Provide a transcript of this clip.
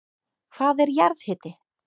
Hvað er jarðhiti?